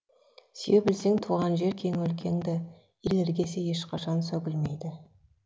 сүйе білсең туған жер кең өлкеңді ел іргесі ешқашан сөгілмейді